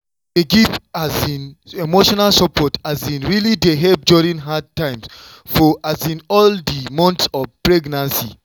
to dey give um emotional support um really dey help during hard times for um all di months of pregnancy.